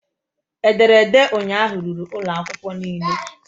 Ederede ụnyaahụ ruru ụlọ akwụkwọ niile